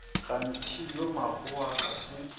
kgane yo mmakgowa ga se